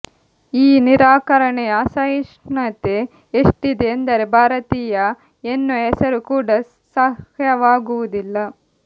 ಈ ನಿರಾಕರಣೆಯ ಅಸಹಿಷ್ಣುತೆ ಎಷ್ಟಿದೆ ಎಂದರೆ ಭಾರತೀಯ ಎನ್ನುವ ಹೆಸರು ಕೂಡ ಸಹ್ಯವಾಗುವುದಿಲ್ಲ